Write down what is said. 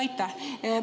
Aitäh!